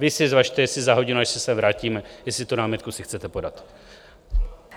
Vy si zvažte, jestli za hodinu, až se sem vrátíme, jestli tu námitku si chcete podat.